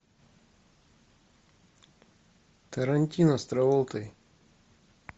тарантино с траволтой